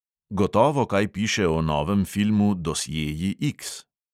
Gotovo kaj piše o novem filmu dosjeji X.